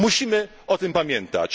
Musimy o tym pamiętać.